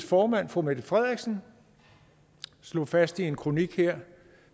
formand fru mette frederiksen slog fast i en kronik her